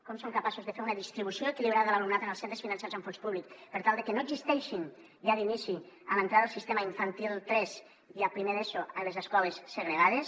com som capaços de fer una distribució equilibrada de l’alumnat en els centres finançats amb fons públics per tal de que no existeixin ja d’inici a l’entrada al sistema infantil tres i a primer d’eso les escoles segregades